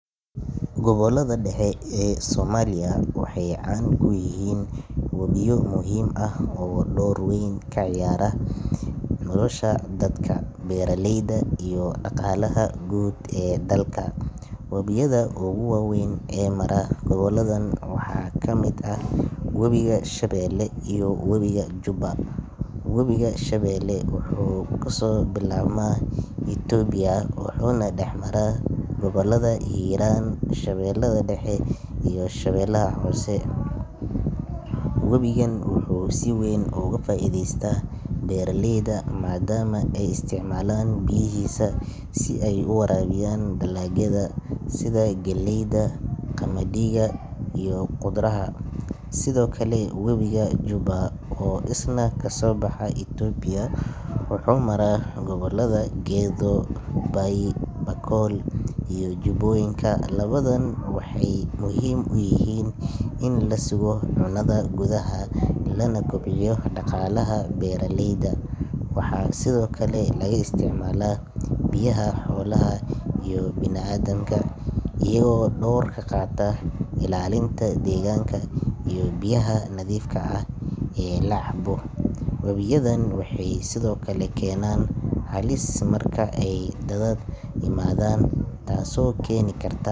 Gobollada dhexe ee Soomaaliya waxay caan ku yihiin wabiyo muhiim ah oo door weyn ka ciyaara nolosha dadka, beeraleyda, iyo dhaqaalaha guud ee dalka. Wabiyada ugu waaweyn ee mara gobolladan waxaa ka mid ah Wabiga Shabeelle iyo Wabiga Jubba. Wabiga Shabeelle wuxuu kasoo bilaabmaa Itoobiya wuxuuna dhex mara gobollada Hiiraan, Shabeellaha Dhexe iyo Shabeellaha Hoose. Wabigan wuxuu si weyn uga faa’iideystaa beeraleyda, maadaama ay isticmaalaan biyihiisa si ay u waraabiyaan dalagyada sida galleyda, qamadiga iyo khudradaha. Sidoo kale, Wabiga Jubba oo isna kasoo baxa Itoobiya wuxuu maraa gobollada Gedo, Bay, Bakool iyo Jubbooyinka. Labadan wabi waxay muhiim u yihiin in la sugo cunnada gudaha, lana kobciyo dhaqaalaha beeraleyda. Waxaa sidoo kale laga isticmaalaa biyaha xoolaha iyo bini’aadamka, iyagoo door ka qaata ilaalinta deegaanka iyo biyaha nadiifka ah ee la cabo. Wabiyadan waxay sidoo kale keenaan halis marka ay daadad yimaadaan, taasoo keeni karta.